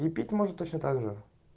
и пить может точно также